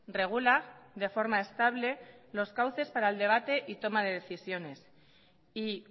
regula de forma estable los cauces para el debate y toma de decisiones y